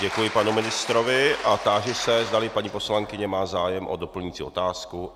Děkuji panu ministrovi a táži se, zdali paní poslankyně má zájem o doplňující otázku.